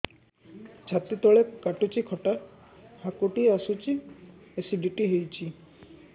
ଛାତି ତଳେ କାଟୁଚି ଖଟା ହାକୁଟି ଆସୁଚି ଏସିଡିଟି ହେଇଚି